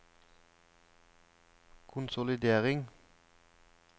konsolidering